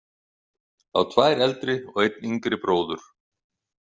Á tvær eldri og einn yngri bróður.